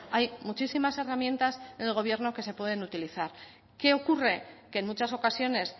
hay muchísimas herramientas del gobierno que se pueden utilizar qué ocurre que en muchas ocasiones